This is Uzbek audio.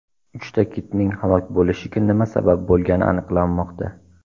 Uchta kitning halok bo‘lishiga nima sabab bo‘lgani aniqlanmoqda.